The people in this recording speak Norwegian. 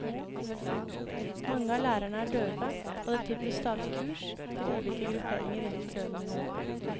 Mange av lærerne er døve, og det tilbys stadig kurs til ulike grupperinger innenfor døvemiljøet.